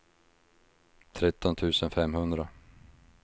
tretton tusen femhundra